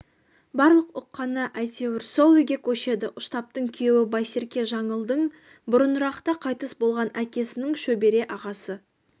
барлық ұққаны әйтеуір сол үйге көшеді ұштаптың күйеуі байсерке жаңылдың бұрынырақта қайтыс болған әкесінің шөбере ағасы